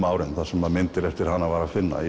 ári þar sem myndir eftir hana voru að finna